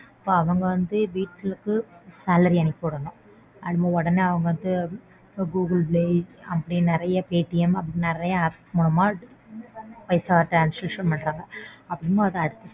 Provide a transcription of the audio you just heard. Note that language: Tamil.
அவங்க வந்து வீட்டுக்கு salary அனுப்பிவிடணும். உடனே அவங்க வந்து Google Pay அப்படினு நறைய PayTM அப்படினு நறைய apps மூலமா பைசா transaction பண்றாங்க. அப்படிங்கும்போது.